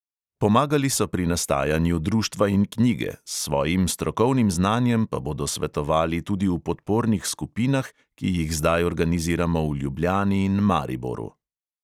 Pomagali so pri nastajanju društva in knjige, s svojim strokovnim znanjem pa bodo svetovali tudi v podpornih skupinah, ki jih zdaj organiziramo v ljubljani in mariboru.